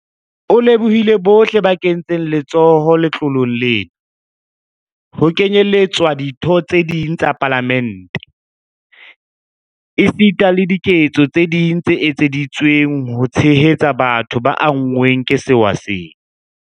O lebohile bohle ba kentseng letsoho letloleng lena, ho kenyeletswa ditho tse ding tsa Palamente, esita le diketso tse ding tse etseditsweng ho tshehetsa batho ba anngweng ke sewa sena.